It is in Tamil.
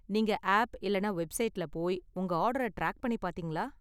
நீங்க ஆப் இல்லனா வெப்சைட்ல போய் உங்க ஆர்டர டிராக் பண்ணி பார்த்தீங்களா?